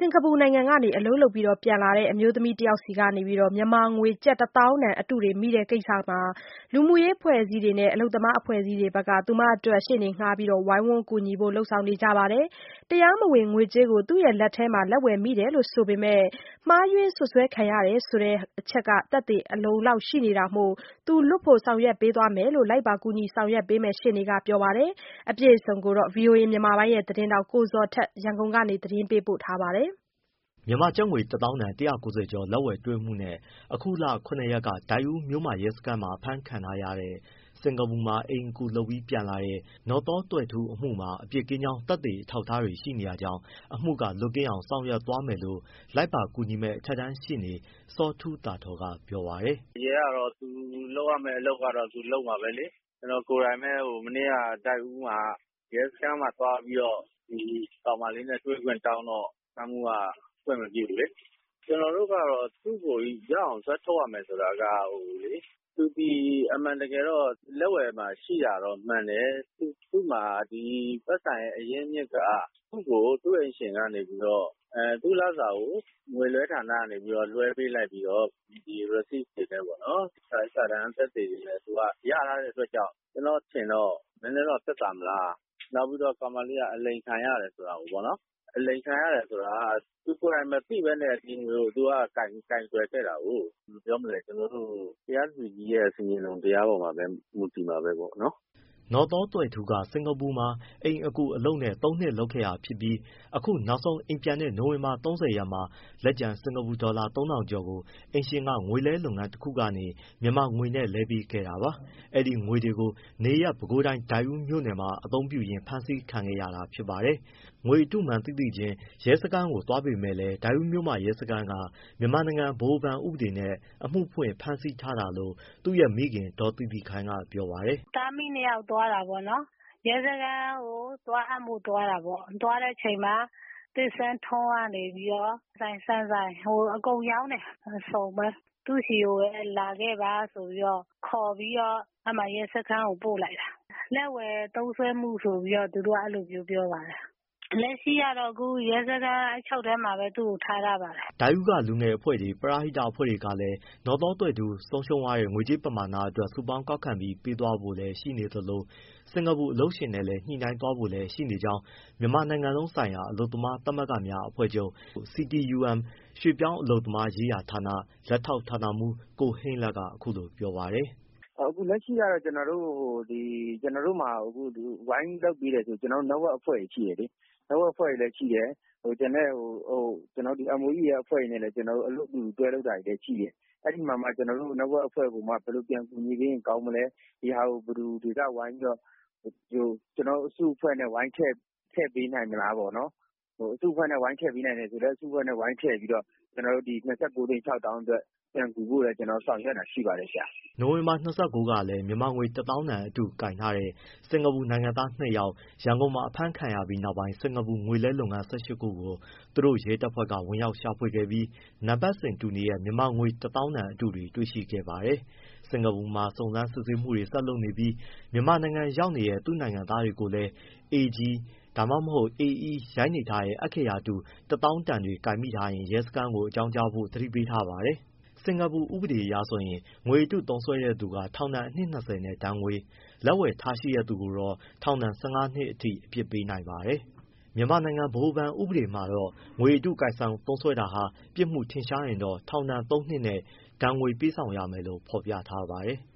င်္ကာပူနိုင်ငံမှာ အလုပ်လုပ်ပြီးပြန်လာတဲ့ အမျိုးသမီးတစ်ယောက်ဆီက မြန်မာငွေတစ်သောင်းတန် အတုတွေမိတဲ့ကိစ္စမှာ လူမှုရေးအဖွဲ့အစည်းတွေနဲ့ အလုပ်သမားအဖွဲ့အစည်းတွေက ရှေ့နေငှားပြီး ဝိုင်းဝန်းကူညီဖို့လုပ်ဆောင်နေပါတယ်။ တရားမဝင်ငွေကြေးကို လက်ဝယ်မိတယ်ဆိုပေမဲ့ မှားယွင်း စွပ်စွဲခံရတယ်ဆိုတာ သက်သေအလုံအလောက်ရှိနေတာကြောင့် လွတ်ဖို့ဆောင်ရွက်ပေးသွားမယ်လို့ လိုက်ပါကူညီမယ့် ရှေ့နေကပြောလိုက်ပါတယ်။ အပြည့်အစုံကို ကိုဇော်ထက် ရန်ကုန်ကနေ ပေးပို့ထားပါတယ်။ မြန်မာငွေတစ်သောင်းတန် ၁၉၀ကျော် လက်ဝယ်တွေ့မှုနဲ့ အခုလ၇ရက်က ဒိုက်ဦးမြို့မ ရဲစခန်းမှာ အဖမ်းခံထားရတဲ့ စင်္ကာပူမှာ အိမ်အကူလုပ်ပြီးပြန်လာတဲ့ နော်သောသွဲ့ထူးအမှုမှာ အပြစ်ကင်းကြောင်း သက်သေ အထောက်အထားတွေရှိနေ တာကြောင့် အမှုကလွတ်အောင်ဆောင်ရွက်သွားမယ်လို့ လိုက်ပါကူညီမယ့်အထက်တန်းရှေ့နေ ဦးစောထူးသာထော် က ပြောပါတယ်။ “ရဲကတော့ သူလုပ်ရမယ့်အလုပ် လုပ်မှာပဲလေ။ ကျွန်တော်ကိုယ်တိုင်ပဲမနေ့က ဒိုက်ဦးမှာရဲစခန်းမှာ သွားပြီးတော့ ဒီကောင်မလေးနဲ့ တွေ့ခွင့်တောင်းတော့ စခန်းမှူးက ခွင့်မပြုဘူးလေ။ ကျွန်တော်တို့ ကတော့သူတို့ကို ရအောင်ဆွဲထုတ်ရမယ်ဆိုတာက သူသည်အမှန်တကယ်တော့ လက်ဝယ်မှာ ရှိတာတော့မှန်တယ်။ သူ့မှာ ဒီပိုက်ဆံရဲ့ အရင်းအမြစ်က သူ့ကို သူ့အိမ်ရှင်ကနေပြီးတော့ သူ့လစာကို ငွေလွှဲဌာနကနေလွှဲပေးလိုက်ပြီးတော့ ဒီ Receive စာရွက်စာတမ်းသက်သေတွေနဲ့ ရထားတဲ့အတွက်ကြောင့် ကျွန်တော့အထင်တော့ နည်းနည်းတော့သက်သာမလား။ နောက်ပြီး ကောင်မလေးက အလိမ်ခံရဆိုတာကိုပေါ့နော် အလိမ်ခံရတယ်ဆိုတာ သူကိုယ်တိုင်မသိဘဲနဲ့ သူက ကိုင်တွယ်ခဲ့တာကိုး။ ဘယ်လိုပြောမလဲ တရားသူကြီးရဲ့ ဆင်ခြင်တုံတရားပေါ်မှာပဲ မူတည်မှာပဲပေါ့နော်။” နော်သောဘွဲ့ထူးက စင်္ကာပူမှာ အိမ်အကူအလုပ်နဲ့ သုံးနှစ်လုပ်ခဲ့တာဖြစ်ပြီး အခုနောက်ဆုံးအိမ်ပြန်တဲ့ နိုဝင်ဘာ ၃၀ရက်မှာ လက်ကျန်စင်္ကာပူဒေါ်လာ ၃၀၀၀ ကျော် ကိုအလုပ်ရှင်က ငွေလဲလုပ်ငန်းတစ်ခု ကနေ မြန်မာငွေနဲ့လဲပေးခဲ့တာပါ။ အဲဒီငွေတွေကို နေရပ် ပဲခူးတိုင်း ဒိုက်ဦးမြို့မှာ အသုံးပြုရင်းဖမ်းဆီးခံခဲ့ရတာဖြစ်ပါတယ်။ ငွေအတုမှန်းသိသိချင်း ရဲစခန်းကိုသွားပေမဲ့လည်း ဒိုက်ဦးမြို့မရဲစခန်းက မြန်မာနိုင်ငံ ဗဟိုဘဏ်ဥပဒေနဲ့ အမှုဖွင့်ဖမ်းဆီးထားတာလို့ သူ့ရဲ့မိခင် ဒေါ်သီသီခိုင်ကပြောပါတယ်။ “သားအမိနှစ်ယောက်သွားတာပေါ့နော် ရဲစခန်းကိုသွားအပ်မလို့သွားတာပေါ့။ သွားတဲ့အခါမှာ ‘သစ်ဆန်းထွန်း’ ကနေပြီးတော့ ဆန်ဆိုင် အကုန်ရောင်းတယ် သူ့ဆီကိုလာခဲ့ပါဆိုပြီးတော့ ခေါ်ပြီးတော့ ရဲစခန်းကို ပို့လိုက်တာ လက်ဝယ်သုံးစွဲမှုဆိုပြီးတော့ သူတို့က အဲလိုမျိုးပြောပါတယ်။ လက်ရှိကတော့ ရဲစခန်းအချုပ်ထဲမှာပဲ သူ့ကိုထားပါတယ်။” ဒိုက်ဦးက လူငယ်အဖွဲ့တွေ၊ ပရဟိတအဖွဲ့တွေကလည်း နော်သောသွဲ့ထူး ဆုံးရှုံးသွားတဲ့ ငွေကြေးပမာဏအတွက် စုပေါင်းကောက်ခံပြီး ပေးသွားဖို့လည်းရှိသလို စင်္ကာပူအလုပ်ရှင်နဲ့လည်း ညှိနှိုင်းသွားဖို့လည်းရှိနေကြောင်း မြန်မာနိုင်ငံလုံးဆိုင်ရာ အလုပ်သမားသမဂ္ဂများအဖွဲ့ချုပ် CIUM ရွှေ့ပြောင်းအလုပ်သမားရေးရာဌာန လက်ထောက်ဌာနမှူး ကိုဟိန်းလတ်ကအခုလိုပြောပါတယ်။ “လက်ရှိကတော့ ကျွန်တော်တို့ဟို ဝိုင်လုပ်ပေးတဲ့ Network တွေရှိတယ်လေ။ ကျွန်တော်တို့ MOEAF တို့နဲ့တွဲလုပ်တာတွေလည်းတွဲလုပ်တာလည်းရှိတယ်။ ကျွန်တော်တို့ဘယ်လိုကူညီပေးရင်ကောင်းမလဲ ကျွန်တော်တို့ အစုအဖွဲ့နဲ့ ဝိုင်းထည့်ပေးနိုင်မလားပေါ့နော်၊ အစုအဖွဲ့နဲ့ဝိုင်းထည့်ပေးနိုင်မယ်ဆိုလည်း အစုအဖွဲ့နဲ့ဝိုင်းထည့်ပြီး ကျွန်တော်တို့ ၂၉ သိန်း ၆သောင်းအတွက် ပြန်ကူဖို့ဆောင်ရွက်တာလည်း ရှိပါတယ်ခင်ဗျာ။” နိုဝင်ဘာ ၂၉ကလည်း မြန်မာငွေ ၁သောင်းတန်အတုကိုင်ထားတဲ့ စင်္ကာပူနိုင်ငံသားနှစ်ယောက် ရန်ကုန်မှာအဖမ်းခံရပြီးနောက်ပိုင်း စင်္ကာပူ ငွေလဲလုပ်ငန်း ၁၈ခုကို သူတို့ရဲတပ်ဖွဲ့က ဝင်ရောက် ရှာဖွေခဲ့ပြီး နံပတ်စဉ်တူနေတဲ့ မြန်မာငွေတစ်သောင်းတန်အတုတွေ တွေ့ရှိခဲ့ပါတယ်။ စင်္ကာပူမှာစုံစမ်းစစ်ဆေးမှုတွေကိုဆက်လုပ်နေပြီး မြန်မာနိုင်ငံရောက်နေတဲ့ သူ့နိုင်ငံသားတွေကိုလည်း AG/ AE ရိုက်နှိပ်ထားတဲ့ အက္ခရာတူ တစ်သောင်းတန်တွေကိုင်မိထားရင် ရဲစခန်းကိုအကြောင်းကြားဖို့ သတိပေးပါတယ်။ စင်္ကာပူဥပဒေအရဆိုရင် ငွေအတုသုံးစွဲတဲ့သူက ထောင်ဒဏ်အနှစ် ၂၀နဲ့ ဒဏ်ငွေ၊ လက်ဝယ်ထားရှိတဲ့သူကိုတော့ ထောင်ဒဏ် ၁၅ နှစ်အထိ အပြစ်ပေးနိုင်ပါတယ်။ မြန်မာနိုင်ငံဗဟိုဘဏ်ဥပဒေမှာတော့ ငွေအတုကိုင်ဆောင်သုံးစွဲတာ ပြစ်မှုထင်ရှားရင်တော့ ထောင်ဒဏ်သုံးနှစ်နဲ့ ဒဏ်ငွေပေးဆောင်ရမယ်လို့ဖော်ပြထားပါတယ်။